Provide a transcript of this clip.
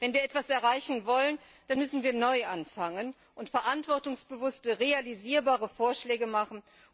Wenn wir etwas erreichen wollen, müssen wir neu anfangen und verantwortungsbewusste, realisierbare Vorschläge machen.